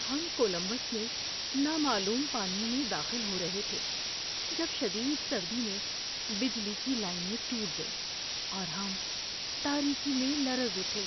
ہم کولمبس میں نامعلوم پانیوں میں داخل ہو رہے تھے جب شدید سردی میں بجلی کی لائنیں ٹوٹ گئیں، اور ہم تاریکی میں لرز اٹھے۔